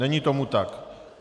Není tomu tak.